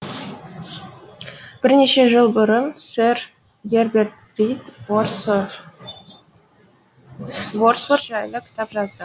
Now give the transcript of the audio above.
бірнеше жыл бұрын сэр герберт рид вордсворт вордсворт жайлы кітап жазды